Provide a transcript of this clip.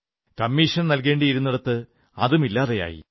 commission നല്കേണ്ടിയിരുന്നിടത്ത് അതും ഇല്ലാതെയായി